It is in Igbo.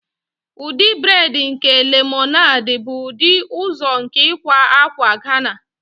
Ụdị braid nke lemonade bụ ụdị ọzọ nke ịkwa akwa Ghana.